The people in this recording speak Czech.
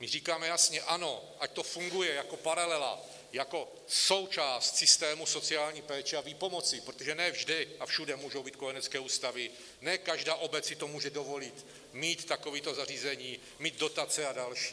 My říkáme jasně ano, ať to funguje jako paralela, jako součást systému sociální péče a výpomoci, protože ne vždy a všude můžou být kojenecké ústavy, ne každá obec si to může dovolit, mít takovéto zařízení, mít dotace a další.